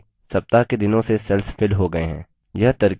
स्वतः ही सप्ताह के दिनों से cells filled हो गए हैं